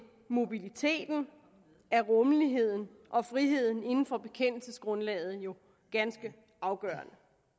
mobiliteten er rummeligheden og friheden inden for bekendelsesgrundlaget jo ganske afgørende